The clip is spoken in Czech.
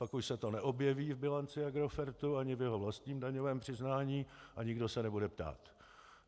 Pak už se to neobjeví v bilanci Agrofertu ani v jeho vlastním daňovém přiznání a nikdo se nebude ptát.